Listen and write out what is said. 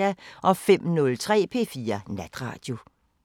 05:03: P4 Natradio